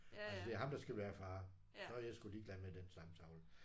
Altså det er ham der skal være far. Så er jeg sgu ligeglad med den stamtavle